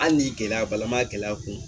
Hali ni gɛlɛya b'a la an m'a gɛlɛya kun